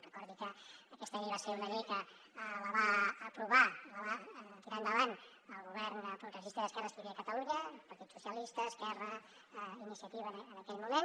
recordi que aquesta llei va ser una llei que la va aprovar i la va tirar endavant el govern progressista i d’esquerres que hi havia a catalunya el partit socialista esquerra iniciativa en aquell moment